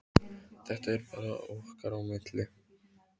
Þetta er bara okkar á milli.